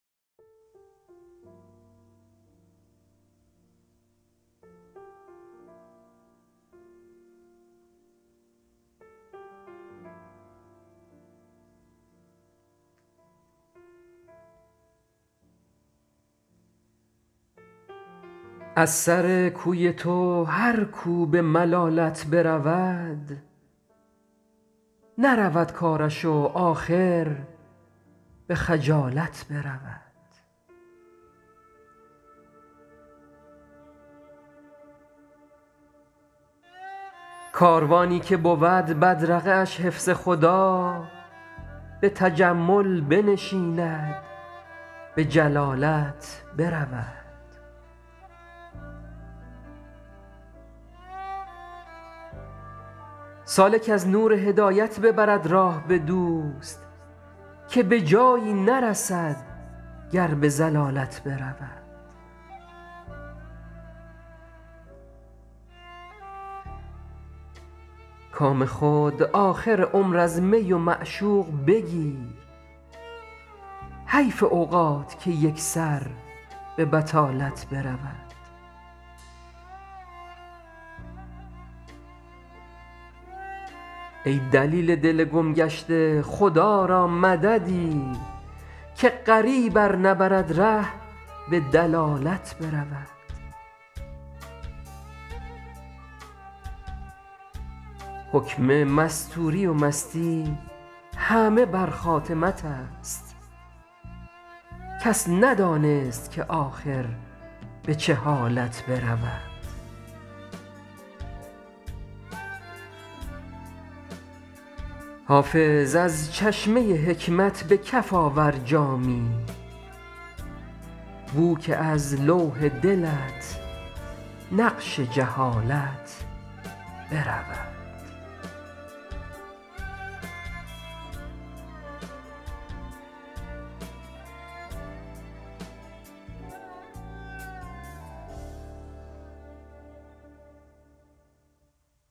از سر کوی تو هر کو به ملالت برود نرود کارش و آخر به خجالت برود کاروانی که بود بدرقه اش حفظ خدا به تجمل بنشیند به جلالت برود سالک از نور هدایت ببرد راه به دوست که به جایی نرسد گر به ضلالت برود کام خود آخر عمر از می و معشوق بگیر حیف اوقات که یک سر به بطالت برود ای دلیل دل گم گشته خدا را مددی که غریب ار نبرد ره به دلالت برود حکم مستوری و مستی همه بر خاتمت است کس ندانست که آخر به چه حالت برود حافظ از چشمه حکمت به کف آور جامی بو که از لوح دلت نقش جهالت برود